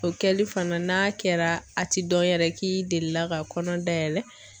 O kɛli fana n'a kɛra a ti dɔn yɛrɛ k'i delila ka kɔnɔ dayɛlɛ.